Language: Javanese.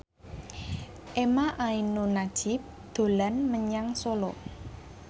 emha ainun nadjib dolan menyang Solo